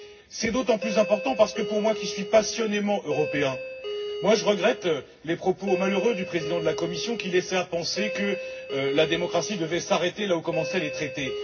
C'est d'autant plus important pour moi parce que je suis passionnément Européen et je regrette les propos malheureux du président de la Commission, qui laissaient à penser que la démocratie devait s'arrêter là où commençaient les traités.